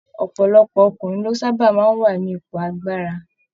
Ọpọlọpọ ọkùnrin ló sábà máa n wà nípò agbára.